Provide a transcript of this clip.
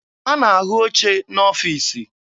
A na-ahụ oche n'ọfiisi.